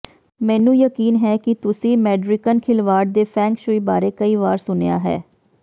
ਮੈਨੂੰ ਯਕੀਨ ਹੈ ਕਿ ਤੁਸੀਂ ਮੈਡਰਿਕਨ ਖਿਲਵਾੜ ਦੇ ਫੇਂਗ ਸ਼ੂਈ ਬਾਰੇ ਕਈ ਵਾਰ ਸੁਣਿਆ ਹੈ